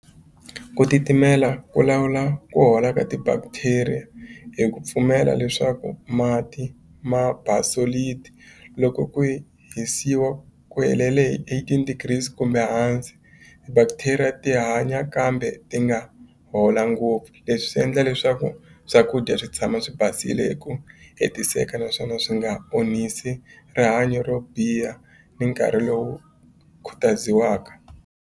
Ku titimela ku lawula ku hola ka ti-bacteria hi ku pfumela leswaku mati ma loko ku hi hisiwa ku helele hi eighteen degrees kumbe hansi bacteria ti hanya kambe ti nga hola ngopfu leswi swi endla leswaku swakudya swi tshama swi basile hi ku hetiseka naswona swi nga onhisi rihanyo ro biha ni nkarhi lowu khutaziwaka.